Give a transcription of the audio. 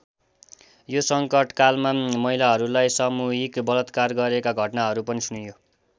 यो सङ्कटकालमा महिलाहरूलाई सामूहिक बलात्कार गरेका घटनाहरू पनि सुनियो।